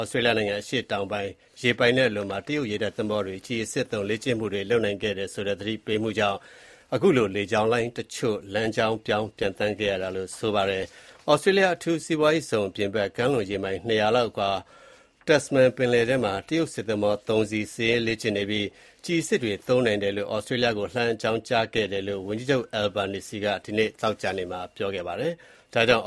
Australia နိုင်ငံ အရှေ့တောင်ပိုင်း ရေပိုင်နက်လွန်မှာ တရုတ်ရေတပ်သင်္ဘောတွေ ကျည်အစစ်သုံး လေ့ကျင့်မှုတွေလုပ်နိုင်တယ်ဆိုတဲ့သတိပေးမှုကြောင့် လေကြောင်းလိုင်းတချို့ လမ်းကြောင်းပြောင်း ပျံသန်းခဲ့ကြပါတယ်။ Australia အထူးစီးပွားရေးဇုံအပြင်ဘက် ကမ်းလွန်ရေမိုင် (၂၀၀_ လောက်အကွာ Tasman ပင်လယ် ထဲမှာ တရုတ်စစ်သင်္ဘော (၃) စီး စစ်ရေးလေ့ကျင့်နေပြီး ကျည်အစစ်တွေသုံးနိုင်တယ်လို့ Australia ကိုလှမ်းအကြောင်းကြားခဲ့တယ်လို့ ဝန်ကြီးချုပ် Anthony Albanese က ဒီနေ့ သောကြာနေ့မှာ ပြောကြားခဲ့ပါတယ်။ ဒါကြောင့်